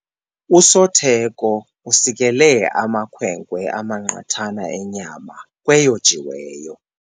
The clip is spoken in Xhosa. Usotheko usikele amakhwenkwe amaqathana enyama kweyojiweyo.